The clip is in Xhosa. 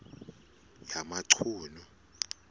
yamachunu